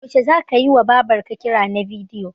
Yaushe zaka yiwa Babar ka kira na bidiyo?